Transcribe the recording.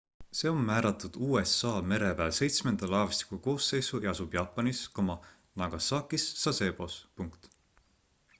see on määratud usa mereväe seitsmenda laevastiku koosseisu ja asub jaapanis nagasakis sasebos